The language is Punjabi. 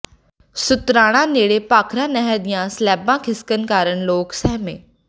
ਸ਼ੁਤਰਾਣਾ ਨੇੜੇ ਭਾਖੜਾ ਨਹਿਰ ਦੀਆਂ ਸਲੈਬਾਂ ਖਿਸਕਣ ਕਾਰਨ ਲੋਕ ਸਹਿਮੇ